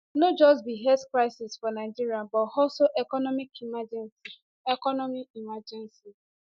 no just be health crisis for nigeria but also economic emergency economic emergency